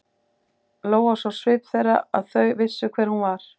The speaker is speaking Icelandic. Lóa sá á svip þeirra að þau vissu hver hún var.